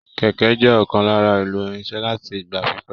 Kẹkẹ jẹ ọkan lára èlò irinṣẹ́ láti ìgbà pípẹ́.